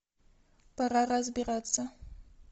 пора разбираться